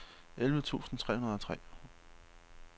elleve tusind tre hundrede og tre